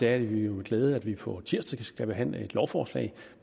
er det jo med glæde at vi på tirsdag skal behandle et lovforslag